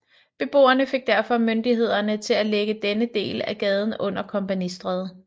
Beboerne fik derfor myndighederne til at lægge denne del af gaden under Kompagnistræde